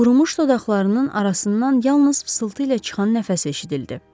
Qurumuş dodaqlarının arasından yalnız fısıltı ilə çıxan nəfəs eşidildi.